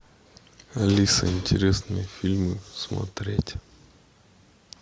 алиса интересные фильмы смотреть